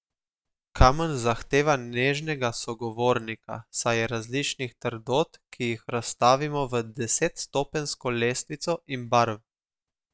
Kamen zahteva nežnega sogovornika, saj je različnih trdot, ki jih razvrstimo v desetstopenjsko lestvico, in barv.